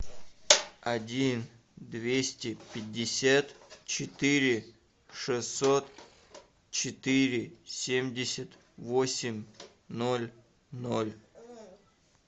один двести пятьдесят четыре шестьсот четыре семьдесят восемь ноль ноль